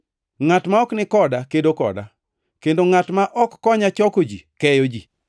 “Ngʼat ma ok ni koda kedo koda, kendo ngʼat ma ok konya choko ji keyo ji.